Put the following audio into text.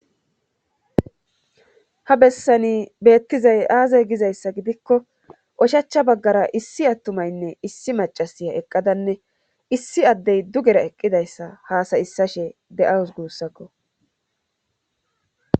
ha bessani beettizay aazay gizayssa gidikko oshachcha baggara issi attumaynne issi macasiya eqqadanne issi addey dugera eqqidayssa haasayissashe de7awus guussakko.